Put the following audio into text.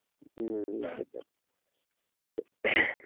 হম সেটাই